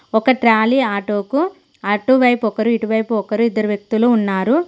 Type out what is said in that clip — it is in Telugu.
ఒక ట్రాలీ ఆటోకు అటువైపు ఒకరు ఇటువైపు ఒకరు ఇద్దరు వ్యక్తులు ఉన్నారు.